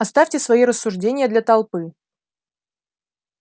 оставьте свои рассуждения для толпы